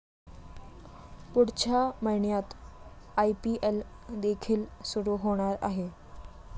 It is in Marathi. पुढच्या महिन्यात आयपीएल देखील सुरू होणार आहे.